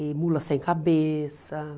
Em Mula Sem Cabeça.